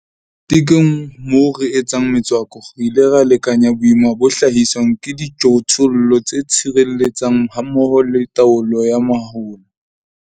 Tekong moo re etsang metswako, re ile ra lekanya boima bo hlahiswang ke dijothollo tse tshireletsang hammoho le taolo ya mahola.